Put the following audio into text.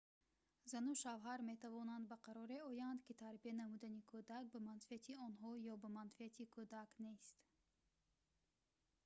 зану шавҳар метавонанд ба қароре оянд ки тарбия намудани кӯдак ба манфиати онҳо ё ба манфиати кӯдак нест